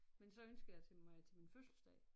Men så ønskede jeg til mig til min fødselsdag